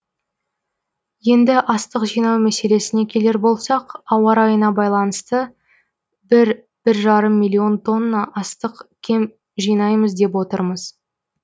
енді астық жинау мәселесіне келер болсақ ауа райына байланыста бір бір жарым миллион тонна астық кем жинаймыз деп отырмыз